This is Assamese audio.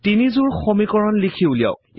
তিনিযোৰা সমীকৰণ লিখি উলিয়াওক